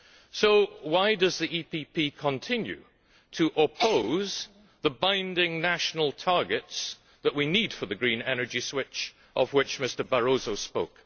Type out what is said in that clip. So why does the PPE continue to oppose the binding national targets that we need for the green energy switch of which Mr Barroso spoke?